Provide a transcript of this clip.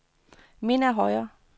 Minna Høyer